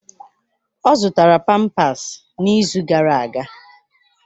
Ọ zụtara pampasi n'izu gara aga.